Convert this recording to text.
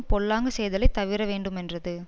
பொல்லாங்கு செய்தலை தவிர வேண்டுமென்றது